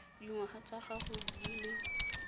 dingwaga tsa gago di le